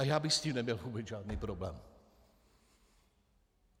A já bych s tím neměl vůbec žádný problém.